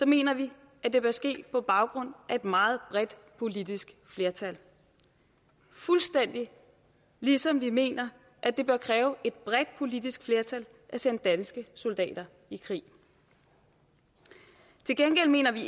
mener vi at det bør ske på baggrund af et meget bredt politisk flertal fuldstændig ligesom vi mener at det bør kræve et bredt politisk flertal at sende danske soldater i krig til gengæld mener vi